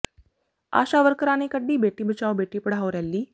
ਆਸ਼ਾ ਵਰਕਰਾਂ ਨੇ ਕੱਢੀ ਬੇਟੀ ਬਚਾਓ ਬੇਟੀ ਪੜ੍ਹਾਓ ਰੈਲੀ